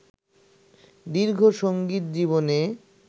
দীর্ঘ সঙ্গীত জীবনে